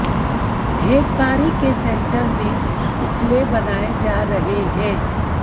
ढेकवारी के सेंटर में उपले बनाए जा रहे हैं